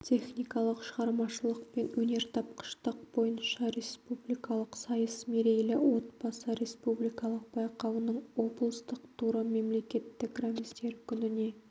техникалық шығармашылық пен өнертапқыштық бойынша республикалық сайыс мерейлі отбасы республикалық байқауының облыстық туры мемлекеттік рәміздер күніне